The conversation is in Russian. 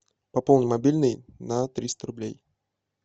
пополни мобильный на триста рублей